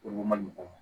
Olu man nɔgɔ